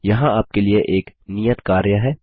यहाँ आप के लिए एक नियत कार्य है